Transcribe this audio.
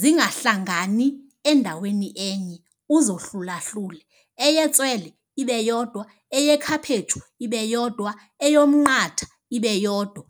Zingahlangani endaweni enye uzohlulahlule. Eyetswele ibe yodwa, eyekhaphetshu ibe yodwa, eyomnqatha ibe yodwa.